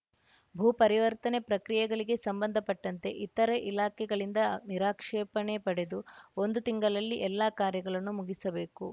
ಭೂ ಪರಿವರ್ತನೆ ಪ್ರಕ್ರಿಯೆಗಳಿಗೆ ಸಂಬಂಧಪಟ್ಟಂತೆ ಇತರೆ ಇಲಾಖೆಗಳಿಂದ ನಿರಾಕ್ಷೇಪಣೆ ಪಡೆದು ಒಂದು ತಿಂಗಳಲ್ಲಿ ಎಲ್ಲಾ ಕಾರ್ಯಗಳನ್ನು ಮುಗಿಸಬೇಕು